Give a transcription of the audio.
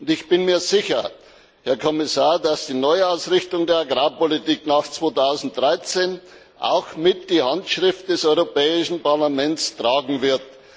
Ich bin mir sicher, Herr Kommissar, dass die Neuausrichtung der Agrarpolitik nach 2013 auch mit die Handschrift des Europäischen Parlaments tragen wird.